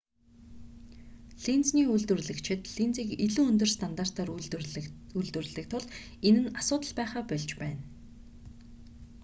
линзний үйлдвэрлэгчид линзийг илүү өндөр стандартаар үйлдвэрлэдэг тул энэ нь асуудал байхаа больж байна